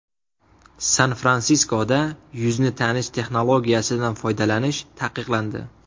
San-Fransiskoda yuzni tanish texnologiyasidan foydalanish taqiqlandi.